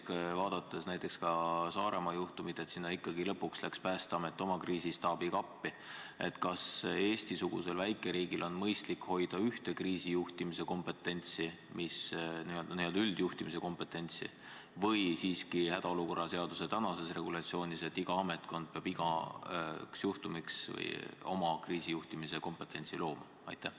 Ja teiseks, vaadates näiteks Saaremaa juhtumit, kuhu lõpuks läks ikkagi Päästeamet oma kriisistaabiga appi, siis kas Eesti-sugusel väikeriigil on mõistlik hoida pigem üht kriisijuhtimise kompetentsi, n-ö üldjuhtimise kompetentsi, või peaks olema nii, nagu on praeguses hädaolukorra seaduses, et iga ametkond hoiab oma kriisijuhtimise kompetentsi?